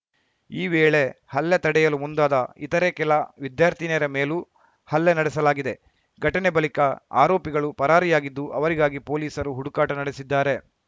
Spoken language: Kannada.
ಈ ವೇಳೆ ಹಲ್ಲೆ ತಡೆಯಲು ಮುಂದಾದ ಇತರೆ ಕೆಲ ವಿದ್ಯಾರ್ಥಿನಿಯರ ಮೇಲೂ ಹಲ್ಲೆ ನಡೆಸಲಾಗಿದೆ ಘಟನೆ ಬಳಿಕ ಆರೋಪಿಗಳು ಪರಾರಿಯಾಗಿದ್ದು ಅವರಿಗಾಗಿ ಪೊಲೀಸರು ಹುಡುಕಾಟ ನಡೆಸಿದ್ದಾರೆ